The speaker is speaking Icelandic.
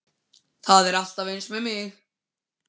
Það er alltaf eins með þig!